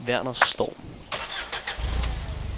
Verner Storm